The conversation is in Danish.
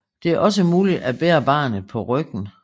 Det er også muligt at bære barnet på ryggen